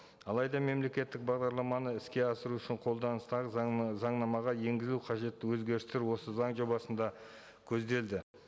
алайда мемлекеттік бағдарламаны іске асыру үшін қолданыстағы заңнамаға енгізу қажетті өзгерістер осы заң жобасында көзделді